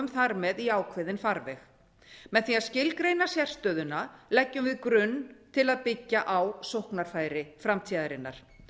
þar með í ákveðinn farveg með því að skilgreina sérstöðuna leggjum við grunn til að byggja á sóknarfæri framtíðarinnar